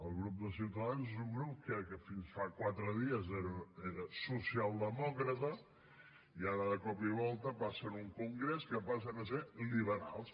el grup de ciutadans és un grup que fins fa quatre dies era socialdemòcrata i ara de cop i volta passen un congrés que passen a ser liberals